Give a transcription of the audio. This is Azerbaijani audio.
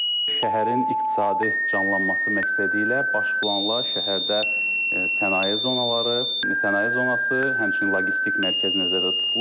Şəhərin iqtisadi canlanması məqsədi ilə baş planla şəhərdə sənaye zonaları, sənaye zonası, həmçinin logistik mərkəz nəzərdə tutulur.